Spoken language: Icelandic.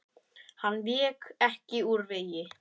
Hann vék ekki úr vegi.